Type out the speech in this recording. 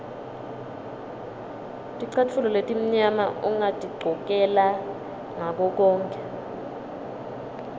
ticatfulo letimnyama ungatigcokela ngakokonkhe